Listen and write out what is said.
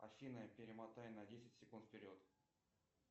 афина перемотай на десять секунд вперед